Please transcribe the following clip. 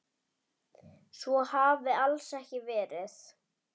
Svo hafi alls ekki verið.